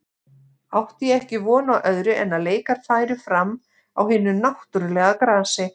Átti ég ekki von á öðru en að leikar færu fram á hinu náttúrulega grasi.